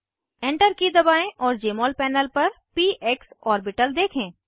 enter key दबाएं और Jmol panel पर पीक्स ऑर्बिटल देखें